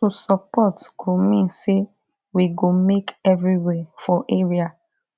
to support go mean say we go make everywhere for area